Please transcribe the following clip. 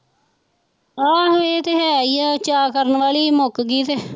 ਆਹੋ ਇਹ ਤੇ ਹੈ ਹੀ ਆ ਚਾਅ ਕਰਨ ਵਾਲੀ ਹੀ ਮੁੱਕ ਗਈ ਤੇ